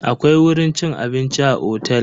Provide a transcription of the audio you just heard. Akwai wurin cin abinci a otel.